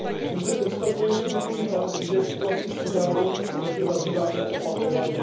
Pouze konstatuji smutný fakt, že situací v Súdánu se zde zabýváme opakovaně.